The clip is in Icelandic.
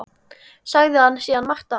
Sagði hann síðan margt af